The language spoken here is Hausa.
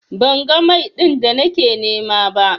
Ban ga Mai din da nake nima ba.